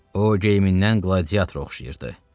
O geyimindən gladiatorya oxşayırdı.